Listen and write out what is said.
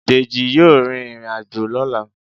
Deji yọọ rín irín-ajo lọla.